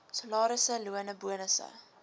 salarisse lone bonusse